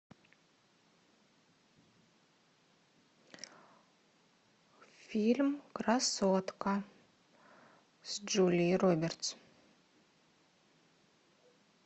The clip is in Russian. фильм красотка с джулией робертс